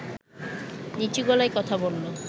নিচু গলায় কথা বলল